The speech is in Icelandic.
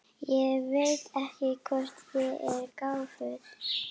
Og Karen svaraði: Ég er búin að spyrja hana.